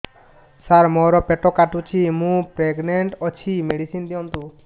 ସାର ମୋର ପେଟ କାଟୁଚି ମୁ ପ୍ରେଗନାଂଟ ଅଛି ମେଡିସିନ ଦିଅନ୍ତୁ